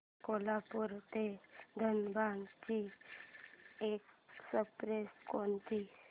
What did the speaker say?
कोल्हापूर ते धनबाद ची एक्स्प्रेस कोणती